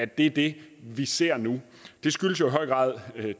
det vi vi ser nu det skyldes jo i høj grad